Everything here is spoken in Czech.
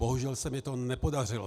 Bohužel se mi to nepodařilo.